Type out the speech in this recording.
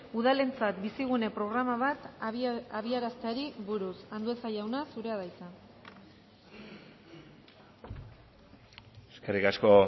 udalentzat bizigune programa bat abiarazteari buruz andueza jauna zurea da hitza eskerrik asko